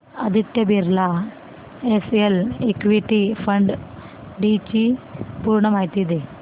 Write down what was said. Aditya Birla SL equity fund D ची पूर्ण माहिती दे